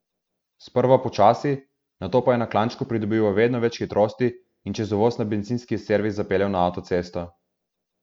Sprva počasi, nato pa je na klančku pridobival vedno več hitrosti in čez uvoz na bencinski servis zapeljal na avtocesto.